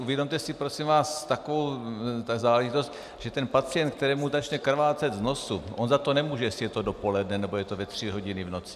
Uvědomte si, prosím vás, takovou záležitost, že ten pacient, kterému začne krvácet z nosu - on za to nemůže, jestli je to dopoledne, nebo je to ve tři hodiny v noci.